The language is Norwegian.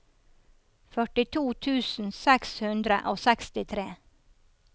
førtito tusen seks hundre og sekstitre